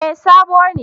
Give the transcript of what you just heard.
Eh sabo ne